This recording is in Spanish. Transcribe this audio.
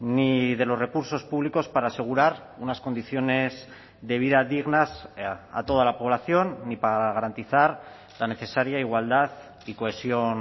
ni de los recursos públicos para asegurar unas condiciones de vida dignas a toda la población ni para garantizar la necesaria igualdad y cohesión